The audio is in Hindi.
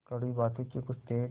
कड़वी बातों के कुछ तेज